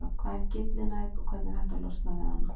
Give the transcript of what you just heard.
Hvað er gyllinæð og hvernig er hægt að losna við hana?